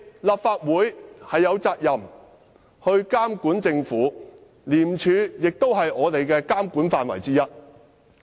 立法會有責任監管政府，廉署也在我們的監管範圍以內。